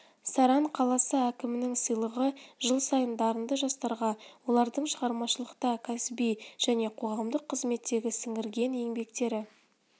саран қаласы әкімінің сыйлығы жыл сайын дарынды жастарға олардың шығармашылықта кәсіби және қоғамдық қызметтегі сіңірген еңбектері